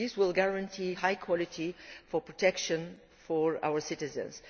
This will guarantee a high quality of protection for our citizens.